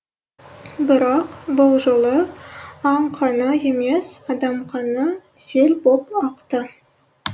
бірақ бұл жолы аң қаны емес адам қаны сел боп ақты